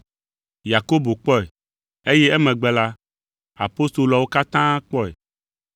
Yakobo kpɔe, eye emegbe la, apostoloawo katã kpɔe.